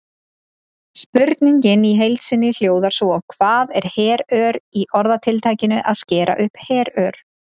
Spurningin í heild sinni hljóðaði svo: Hvað er herör í orðatiltækinu að skera upp herör?